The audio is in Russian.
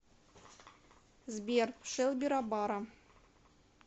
сбер шелби рабара